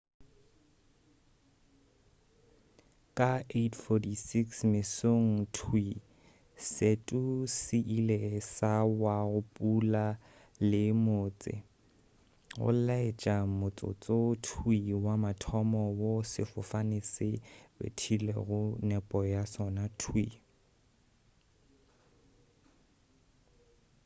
ka 8:46 mesong thwii setu se ile sa wa go putla le motse go laetša motsotso thwii wa mathomo wo sefofane se bethilego nepo ya sona thwii